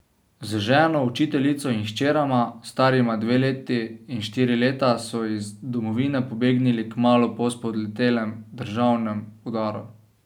Z ženo, učiteljico, in hčerama, starima dve leti in štiri leta, so iz domovine pobegnili kmalu po spodletelem državnem udaru.